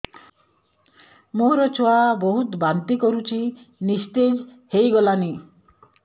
ମୋ ଛୁଆ ବହୁତ୍ ବାନ୍ତି କରୁଛି ନିସ୍ତେଜ ହେଇ ଗଲାନି